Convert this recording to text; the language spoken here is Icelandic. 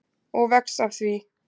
Og vex af því.